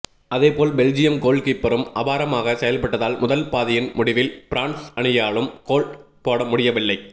அதேபோல் பெல்ஜியம் கோல்கீப்பரும் அபாரமாக செயல்பட்டதால் முதல் பாதியின் முடிவில் பிரான்ஸ் அணியாலும் கோல் போடமுடியவில்லை